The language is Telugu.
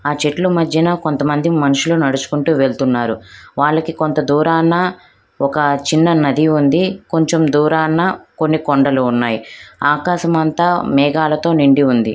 ఆ చెట్ల మధ్యన కొంతమంది మనుషులు నడుచుకుంటూ వెళ్తున్నారు వాళ్లకి కొంత దూరాన ఒక చిన్న నది ఉంది కొంత దూరాన కొన్ని కొండలు ఆకాశమంత మేఘాలతో నిండి ఉంది .